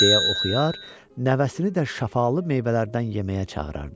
Deyə oxuyar, nəvəsini də şəfalı meyvələrdən yeməyə çağırardı.